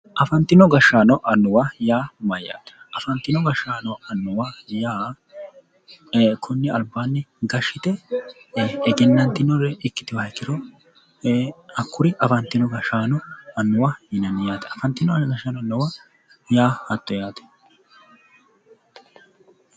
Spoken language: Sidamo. Afantino gashshaano anuwa yaa mayaate? afantino gashshaano annuwa yaa konni albaanni gashshite egennantinoha ikkewooha ikkiro hakkuri afantino gashshaano annuwa yinanni yaate. afantino gashshaano annuwa yaa hatto yaate.